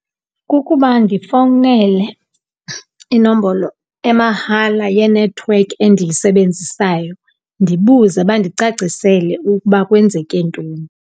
Kukuba ndifowunele inombolo emahala yenethiwekhi endiyisebenzisayo ndibuze, bandicacisele ukuba kwenzeke ntoni.